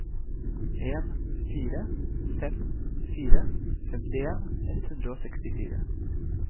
en fire fem fire femtien ett hundre og sekstifire